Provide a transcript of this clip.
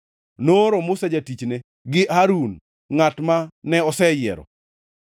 Nooro Musa jatichne, gi Harun, ngʼat mane oseyiero.